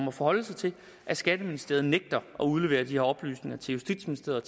at forholde sig til at skatteministeriet nægter at udlevere de her oplysninger til justitsministeriet